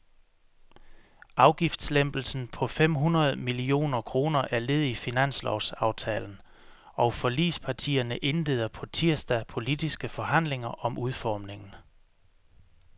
Afgiftslempelsen på fem hundrede millioner kroner er led i finanslovsaftalen, og forligspartierne indleder på tirsdag politiske forhandlinger om udformningen.